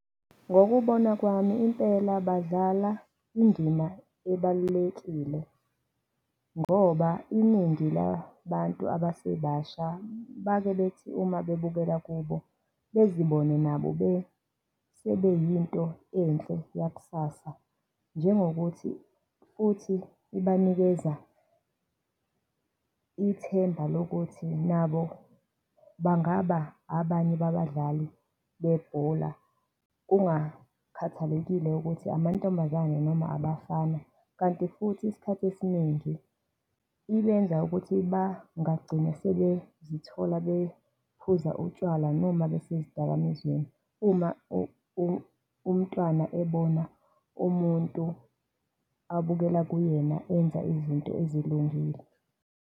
Ngokubona kwami impela badlala indina ebalulekile ngoba iningi labantu abasebasha bake bethi uma bebukela kubo, bezibona nabo sebeyinto enhle yakusasa, njengokuthi futhi kubanikeza ithemba lokuthi nabo bangaba abanye babadlali bebhola kungakhathalekile ukuthi amantombazane noma abafana. Kanti futhi isikhathi esiningi ibeynza ukuthi bangagcine sebezithola bephuza utshwala noma besezidakamizweni, uma umntwana ebona umuntu abukela kuyena, enza izinto ezilungile.